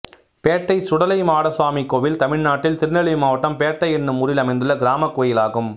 பேட்டை சுடலை மாடசுவாமி கோயில் தமிழ்நாட்டில் திருநெல்வேலி மாவட்டம் பேட்டை என்னும் ஊரில் அமைந்துள்ள கிராமக் கோயிலாகும்